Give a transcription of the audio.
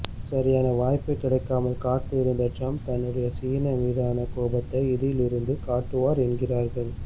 சரியான வாய்ப்பு கிடைக்காமல் காத்து இருந்த டிரம்ப் தன்னுடைய சீனா மீதான கோபத்தை இதில் இருந்து காட்டுவார் என்கிறார்கள்